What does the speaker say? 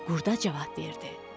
Qurda cavab verdi: